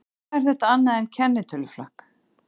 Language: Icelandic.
Hvað er þetta annað en kennitöluflakk?